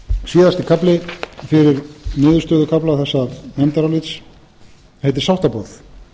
síðasti kafli fyrir niðurstöðukafla þessa nefndarálits heitir sáttaboð